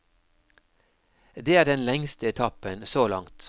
Det er den lengste etappen så langt.